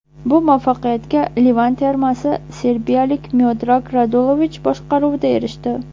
Bu muvaffaqiyatga Livan termasi serbiyalik Miodrag Radulovich boshqaruvida erishdi.